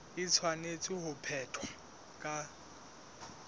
e tshwanetse ho phethwa ka